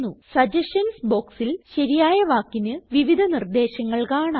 suggestions ബോക്സിൽ ശരിയായ വാക്കിന് വിവിധ നിർദേശങ്ങൾ കാണാം